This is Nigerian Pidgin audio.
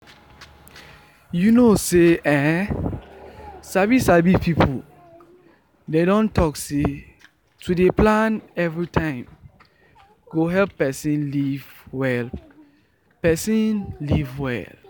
you know say[um]sabi sabi people dem don talk say to dey plan everytime go help person live well person live well